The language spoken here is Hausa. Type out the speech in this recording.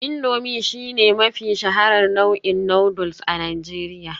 Indomie shine mafi shaharar nau'in noodles a Najeriya